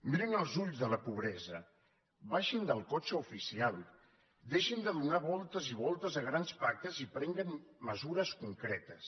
mirin els ulls de la pobresa baixin del cotxe oficial deixin de donar voltes i voltes a grans pactes i prenguin mesures concretes